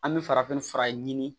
An bɛ farafin fura ɲini